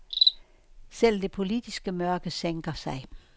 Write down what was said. Selv det politiske mørke sænker sig.